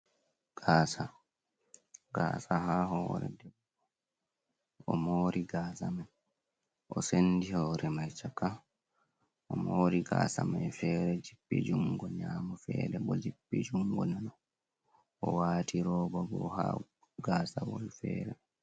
Gaasa, gaasa ha hore, o mori gaasa mai, o sendi hore mai chaka, o mori gaasa mai fere jippi jungo nyamo, fere bo jippi jungo nano, o wati robabo ha gaasa man fere.